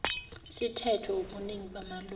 sithethwe wubuningi bamalungu